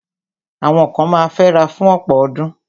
Àwọn kan ma fẹ́ra fún ọ̀pọ̀ ọdún.